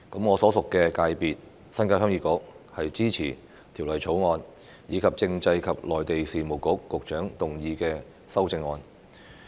我所屬界別鄉議局支持《條例草案》，以及政制及內地事務局局長動議的修正案。